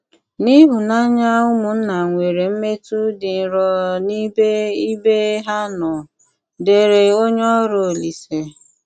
N’íhụ́nànyà úmụ́nna nwéré m̀mé̄tù dị́ nrọ n’íbè íbé há nọ́, ” dére ónyè órù Òlíse.